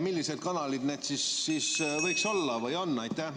Millised need kanalid võiksid olla või on?